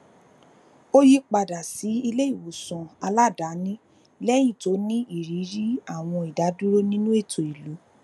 o yipada si ileiwosan aladaani lẹyin ti o ni iriri awọn idaduro ninu eto ilu